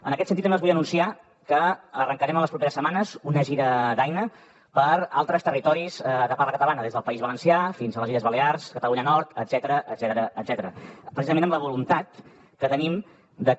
en aquest sentit també els vull anunciar que arrencarem en les properes setmanes una gira d’aina per altres territoris de parla catalana des del país valencià fins a les illes balears catalunya nord etcètera precisament amb la voluntat que tenim de que